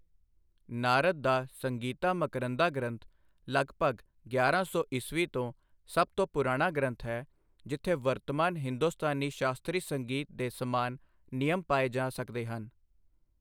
ਨਾਰਦ ਦਾ ਸੰਗੀਤਾ ਮਕਰੰਧਾ ਗ੍ਰੰਥ, ਲਗਭਗ ਗਿਆਰਾਂ ਸੌ ਈ. ਤੋਂ, ਸਭ ਤੋਂ ਪੁਰਾਣਾ ਗ੍ਰੰਥ ਹੈ ਜਿੱਥੇ ਵਰਤਮਾਨ ਹਿੰਦੁਸਤਾਨੀ ਸ਼ਾਸਤਰੀ ਸੰਗੀਤ ਦੇ ਸਮਾਨ ਨਿਯਮ ਪਾਏ ਜਾ ਸਕਦੇ ਹਨ।